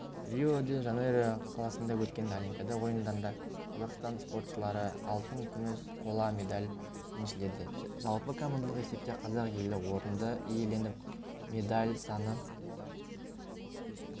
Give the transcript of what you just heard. рио-де-жанейро қаласында өткен олимпиада ойындарында қазақстан спортшылары алтын күміс қола медаль еншіледі жалпы командалық есепте қазақ елі орынды иеленіп медаль саны